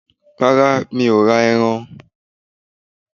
Rárá, mo ǹ ra erán.